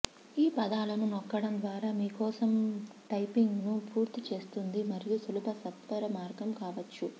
ఈ పదాలను నొక్కడం ద్వారా మీ కోసం టైపింగ్ను పూర్తి చేస్తుంది మరియు సులభ సత్వరమార్గం కావచ్చు